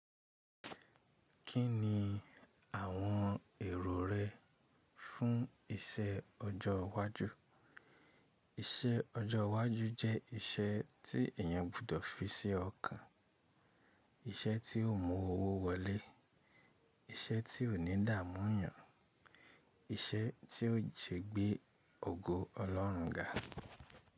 Kí ni àwọn èrò rẹ fún iṣẹ́ ọjọ́ iwájú? Iṣẹ́ ọjọ́ iwájú jẹ́ iṣẹ́ tí èèyàn gbudọ̀ fi sí ọkàn, iṣẹ́ tí yóò mú owó wọlé, iṣẹ́ tí ò ní dààmú 'yàn, iṣẹ́ tí yóò ṣe gbé ògo Ọlọ́run ga.